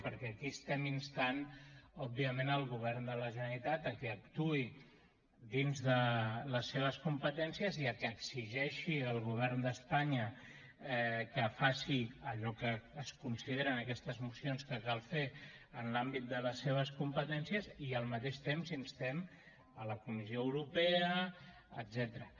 perquè aquí instem òbviament el govern de la generalitat a que actuï dins de les seves competències i a que exigeixi al govern d’espanya que faci allò que es considera en aquestes mocions que cal fer en l’àmbit de les seves competències i al mateix temps instem la comissió europea etcètera